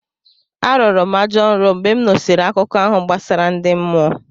Arọrọ m ajọ nrọ mgbe m nụsịrị akụkọ ahụ gbasara ndi mmụọ.